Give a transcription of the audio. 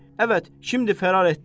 Əvət, şimdi fərar etdilər.